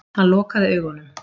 Hann lokaði augunum.